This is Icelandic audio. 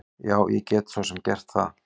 Já, ég get svo sem gert það.